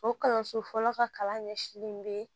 O kalanso fɔlɔ ka kalan ɲɛsilen bɛ